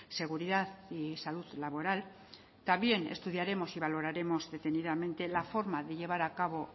seguridad y salud laboral también estudiaremos y valoraremos detenidamente la forma de llevar a cabo